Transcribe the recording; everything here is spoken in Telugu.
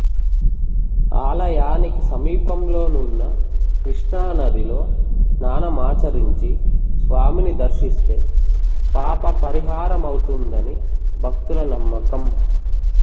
ఆలయానికి సమీపంలోనున్న కృష్ణానదిలో స్నానమాచరించి స్వామిని దర్శిస్తే పాపపరిహారమౌతుందని భక్తుల నమ్మకం